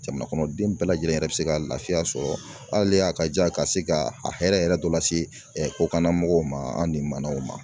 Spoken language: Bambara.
Jamana kɔnɔdenw bɛɛ lajɛlen yɛrɛ bɛ se ka lafiya sɔrɔ hali a ka jan ka se ka a hɛrɛ yɛrɛ dɔ la se kokana mɔgɔw ma an ni manaw ma.